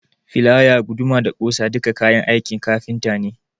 Filaya, guduma da ɓusa duka kayan aikin kafinta ne.